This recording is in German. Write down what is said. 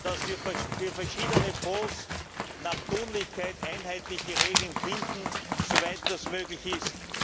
dass wir für verschiedene Fonds nach Tunlichkeit einheitliche Regeln finden, soweit das möglich ist.